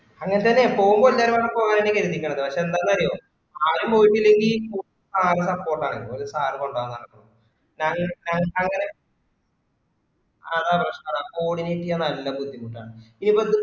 അങ്ങനത്തന്നെ പോവുമ്പോ എല്ലാരുടീം പോവാന്ന് കരുതിക്കാണ് പക്ഷെ ന്താണ് അറിയോ ആദ്യം പോയിട്ടില്ലെങ്കി sir ന്റ്റെ support ആണ് ഒരു sir കൊണ്ടോവാന്ന് പറഞ്ഞക്കണു ഞാന് ഞാനു ആഹ് അതാ പ്രശ്‍നം അതാ coordinate ചെയ്യാൻ നല്ല ബുദ്ദിമുട്ടാണ്